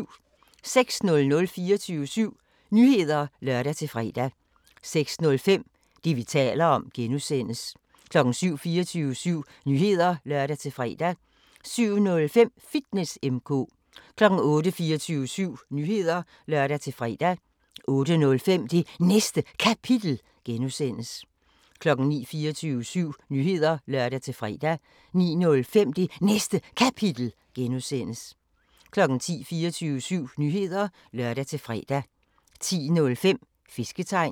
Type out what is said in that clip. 06:00: 24syv Nyheder (lør-fre) 06:05: Det, vi taler om (G) 07:00: 24syv Nyheder (lør-fre) 07:05: Fitness M/K 08:00: 24syv Nyheder (lør-fre) 08:05: Det Næste Kapitel (G) 09:00: 24syv Nyheder (lør-fre) 09:05: Det Næste Kapitel (G) 10:00: 24syv Nyheder (lør-fre) 10:05: Fisketegn